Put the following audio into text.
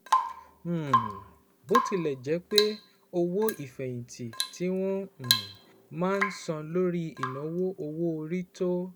um Bó tilẹ̀ jẹ́ pé owó ìfẹ̀yìntì tí wọ́n um máa ń san lórí ìnáwó owó orí tó